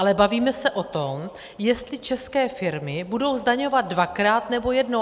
Ale bavíme se o tom, jestli české firmy budou zdaňovat dvakrát, nebo jednou.